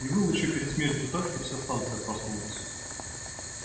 и выл ещё перед смертью так что вся станция проснулась